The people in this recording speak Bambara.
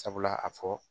Sabula a fɔ